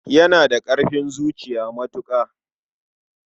Yana da ƙarfin zuciya matuƙa.